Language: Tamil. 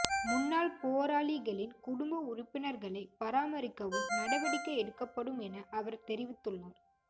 முன்னாள் போராளிகளின் குடும்ப உறுப்பினர்களை பராமரிக்கவும் நடவடிக்கை எடுக்கப்படும் என அவர் தெரிவித்துள்ளார்